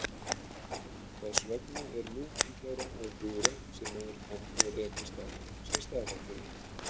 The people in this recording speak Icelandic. Þess vegna er mun líklegra að fura sem maður kann að rekast á sé stafafura.